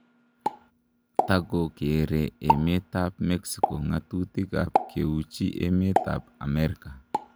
Takokere emet ab mexico ngatutik ab keuchi emet ab Amerika